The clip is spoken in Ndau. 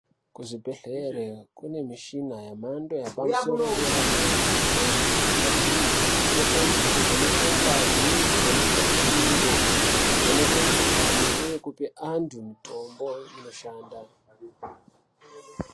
Kuzvibhedhlera kune michini yamhando yapadera dera imweni yemichina iyi inoshandiswe kuvheneke ngazi , kuvheneke mitundo ,kuvheneke mukuhlane uye kupe antu mutombo inoshanda.